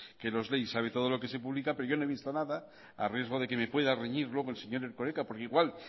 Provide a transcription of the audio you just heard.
que nos lee y sabe todo lo que se publica pero yo no he visto nada a riesgo de que me pueda reñir luego el señor erkoreka porque igual